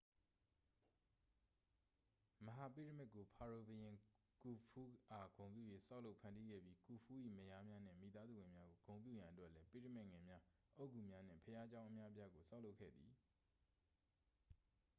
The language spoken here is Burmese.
မဟာပိရမစ်ကို ဖာရိုဘုရင် ကူဖူးအား ဂုဏ်ပြု၍ ဆောက်လုပ်ဖန်တီးခဲ့ပြီး ကူဖူး၏ မယားများနှင့် မိသားစုဝင်များကို ဂုဏ်ပြုရန်အတွက်လည်း ပိရမစ်ငယ်များ အုတ်ဂုများနှင့် ဘုရားကျောင်း အများအပြားကို ဆောက်လုပ်ခဲ့သည်